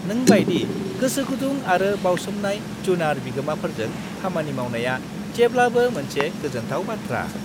नों बायदि गोसोगुदुं आरो बावसोमनाय जुनार बिगोमाफोरजों खामानि मावनाया जेब्लाबो मोनसे गोजोनथाव बाथ्रा।